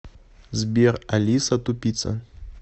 сбер алиса тупица